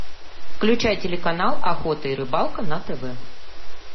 включай телеканал охота и рыбалка на тв